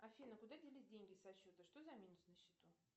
афина куда делись деньги со счета что за минус на счету